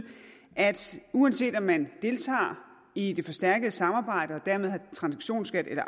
at uanset om man deltager i det forstærkede samarbejde og dermed har en transaktionsskat eller